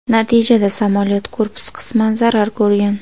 Natijada samolyot korpusi qisman zarar ko‘rgan.